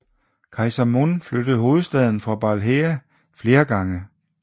Kejser Mun flyttede hovedstaden for Balhae flere gange